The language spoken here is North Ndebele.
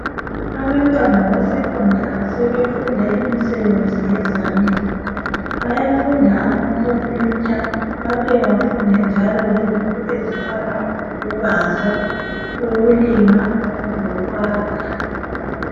Abantwana beSekhondari sebefunda imisebenzi yezandla. Bayafunda amakhompiyutha babuye bafunde njalo lezinto ezifana lokubaza, ukulima lokwakha.